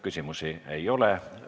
Küsimusi ei ole.